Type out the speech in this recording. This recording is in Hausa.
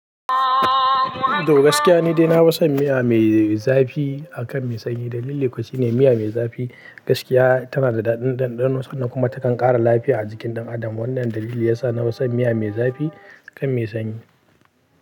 Toh gaskiya ni dai nafison miya mai zafi akan mai sanyi. Dalili ko shine miya mai zafi gaskiya tana da daɗin ɗanɗano, sannan kuma takan ƙara lafiya a jikin ɗan adam. Wannan dalilin ya sa na wasa miya mai zafi kan mai sanyi.